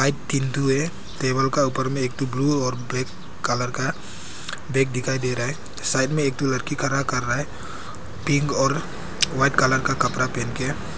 है टेबल का ऊपर में एक ठो ब्लू और ब्लैक कलर का बैग दिखाई दे रहा है साइड में एक लड़की खड़ा कर रहा है पिंक और व्हाइट कलर का कपड़ा पहन के।